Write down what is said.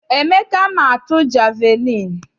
Emeka ma atu jeviliini.